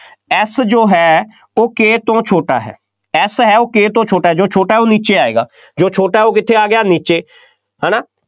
F ਜੋ ਹੈ ਉਹ K ਤੋਂ ਛੋਟਾ ਹੈ, F ਹੈ ਉਹ K ਤੋਂ ਛੋਟਾ ਹੈ, ਜੋ ਛੋਟਾ ਹੈ ਉਹ ਨੀਚੇ ਆਏਗਾ, ਜੋ ਛੋਟਾ ਹੈ ਉਹ ਕਿੱਥੇ ਆ ਗਿਆ, ਨੀਚੇ, ਹੈ ਨਾ,